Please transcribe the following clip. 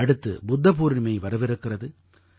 அடுத்து புத்த பூர்ணிமை வரவிருக்கிறது